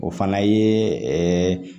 O fana ye